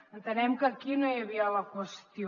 entenem que aquí no hi havia la qüestió